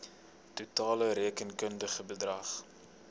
totale rekenkundige bedrag